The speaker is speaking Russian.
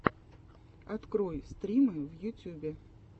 открой стримы в ютьюбе